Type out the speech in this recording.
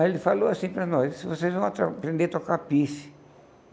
Aí ele falou assim para nós, vocês vão aprender a tocar pife.